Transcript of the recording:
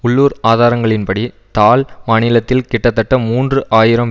உள்ளூர் ஆதாரங்களின்படி தால் மாநிலத்தில் கிட்டத்தட்ட மூன்று ஆயிரம்